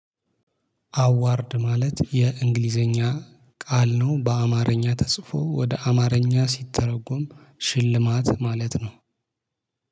አዋርድ ማለት የእንግሊዘኛ ቃል ነው በአማርኛ ተጽፎ ወደ አማርኛ ሲተረጎም ሽልማት ማለት ነው